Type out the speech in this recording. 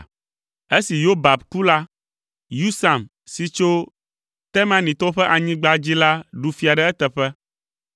Esi Yobab ku la, Husam si tso Temanitɔwo ƒe anyigba dzi la ɖu fia ɖe eteƒe.